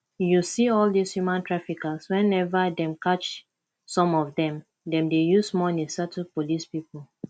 you see all dis human traffickers whenever dem catch some of dem dem dey use money settle police people